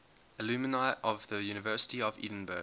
alumni of the university of edinburgh